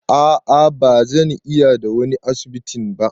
A'a ba zan iya da wani asibitin ba.